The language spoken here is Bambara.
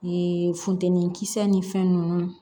Ee funteni kisɛ ni fɛn nunnu